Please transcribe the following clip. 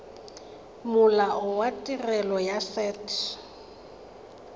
molao wa tirelo ya set